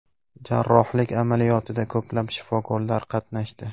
Jarrohlik amaliyotida ko‘plab shifokorlar qatnashdi.